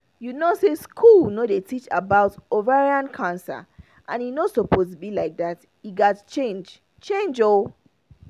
you know say school no dey teach about ovarian cancer and e no suppose be like that e gat change change ooo